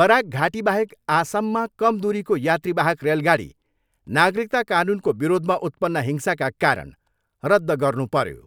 Barack घाटीबाहेक आसममा कम दुरीको यात्रीवाहक रेलगाडी नागरिकता कानुनको विरोधमा उत्पन्न हिंसाका कारण रद्ध गर्नुपर्यो।